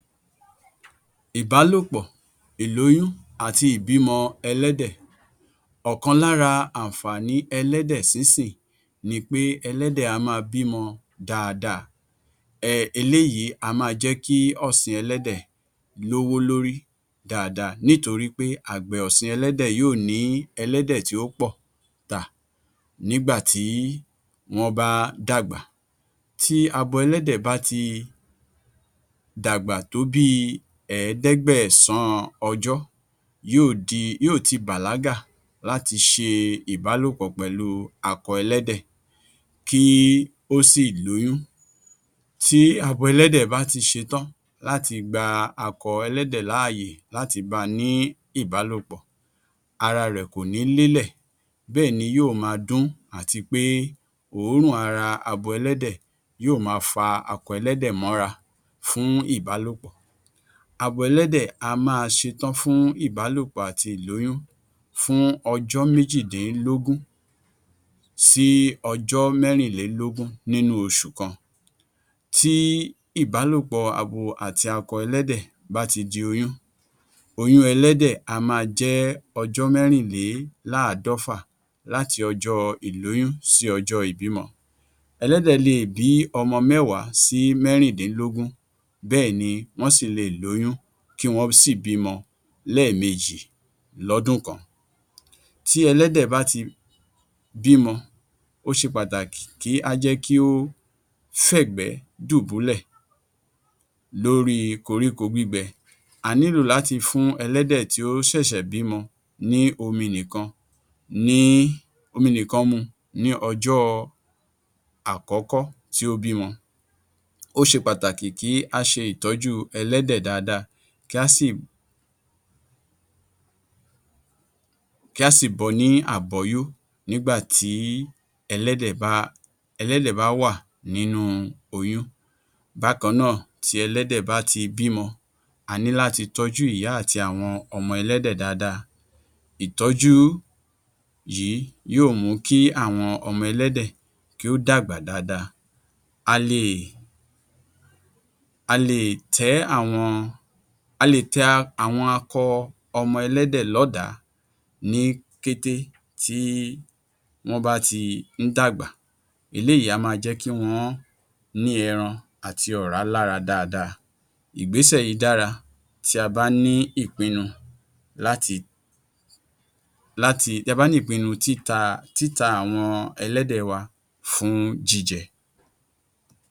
Ìbálòpọ̀, ìlóyún àti ìbímọ ẹlẹ́dẹ̀. Ọ̀kan lára àǹfààní ẹlẹ́dẹ̀ sínsìn ni pé ẹlẹ́dẹ̀ á máa bímọ dáadáa, eléyìí á máa jẹ́ kí ọ̀sìn ẹlẹ́dẹ̀ lówó lórí dáadáa nítorí pé àgbẹ̀ ọ̀sìn ẹlẹ́dẹ̀ yóò ní ẹlẹ́dẹ̀ tí ó pọ̀ tà, nígbà tí wọ́n bá dàgbà. Tí abo ẹlẹ́dẹ̀ bá ti dàgbà tó bí i Ẹ̀ẹ́dẹ́gbẹ̀sán ọjọ́ yóò ti bàlágà láti ṣe ìbálòpọ̀ pẹ̀lú akọ ẹlẹ́dẹ̀ kí ó sì lóyún, tí abo ẹlẹ́dẹ̀ bá ti ṣetán láti gba akọ ẹlẹ́dẹ̀ ní ààyè láti ba ní ìbálòpọ̀ ara rẹ̀ kò ní lélẹ̀, bẹ́ẹ̀ni yóò máa dún àti pé òórùn ara abo ẹlẹ́dẹ̀ yóò máa fa akọ ẹlẹ́dẹ̀ mọ́ra fún ìbálòpọ̀, abo ẹlẹ́dẹ̀ á máa ṣetán fún ìbálòpọ̀ àti ìlóyún fún ọjọ́ méjìdínlógún sí ọjọ́ mẹ́rinlélógún nínú oṣù kan, tí ìbálòpọ̀ abo àti akọ ẹlẹ́dẹ̀ bá ti di oyún, oyún ẹlẹ́dẹ̀ á máa jé ọjọ́ mẹ́rinléláàádọ́fà, láti ọjọ́ ìlóyún sí ọjọ́ ìbímọ. Ẹlẹ́dẹ̀ le è bí ọmọ mẹ́wàá sí mẹ́rindínlógún bẹ́ẹ̀èni wọ́n sì le è lóyún kí wọ́n sì bímọ lẹ́ẹ̀mejì lọ́dún kan, tí ẹlẹ́dẹ̀ bá ti bímọ, ó ṣe pàtàkì kí a jẹ́ kí ó fẹ̀gbẹ́ dùbúlẹ̀, lórí koríko gbígbẹ, a nílò láti fún ẹlẹ́dẹ̀ tí ó ṣẹ̀ṣẹ̀ bímọ ní omi nìkan mu, ní ọjọ́ àkọ́kọ́ tí ó bímọ. Ó ṣe pàtàkì kí a ṣe ìtọ́jú ẹlẹ́dẹ̀ dáadáa, kí a sì bọ ní àbọ́yó, nígbà tí elẹ́dẹ̀ bá wà nínú oyún. Bákan náà, tí ẹlẹ́dẹ̀ bá ti bímọ, a ní láti tọ́jú ìyá àti àwọn ọmọ ẹlẹ́dẹ̀ dáadáa, ìtọ́jú yìí yóò mú kí àwọn ọmọ ẹlẹ́dẹ̀ kí ó dàgbà dáadáa. A le è ta àwọn akọ ọmọ ẹlẹ́dẹ̀ lọ́dàá ní kété tí wọ́n bá ti ń dàgbà, eléyìí á máa jẹ́ kí wọ́n ní ẹran àti ọ̀rá lára dáadáa ìgbésẹ̀ yìí dára tí a bá ní ìpinnu títa àwọn elẹ́dẹ̀ wa fún jíjẹ.